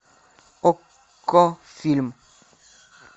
окко фильм